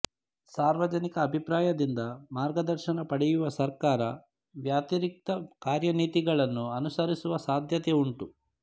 ಸಾರ್ವಜನಿಕ ಅಭಿಪ್ರಾಯದಿಂದ ಮಾರ್ಗದರ್ಶನ ಪಡೆಯುವ ಸರ್ಕಾರ ವ್ಯತಿರಿಕ್ತ ಕಾರ್ಯನೀತಿಗಳನ್ನು ಅನುಸರಿಸುವ ಸಾಧ್ಯತೆಯುಂಟು